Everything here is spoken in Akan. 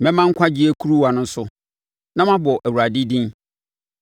Mɛma nkwagyeɛ kuruwa no so na mabɔ Awurade din.